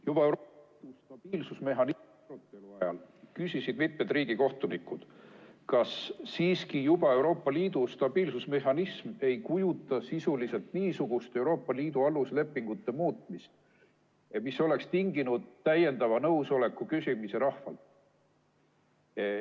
Juba Euroopa stabiilsusmehhanismi arutelu ajal küsisid mitu riigikohtunikku, kas siiski juba Euroopa Liidu stabiilsusmehhanism ei kujuta endast sisuliselt niisugust Euroopa Liidu aluslepingute muutmist, mis oleks tinginud täiendava nõusoleku küsimise rahvalt.